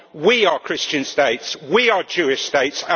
We are Christian states we are Jewish states